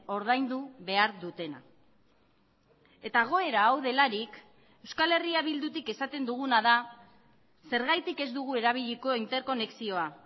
ordaindu behar dutena eta egoera hau delarik euskal herria bildutik esaten duguna da zergatik ez dugu erabiliko interkonexioa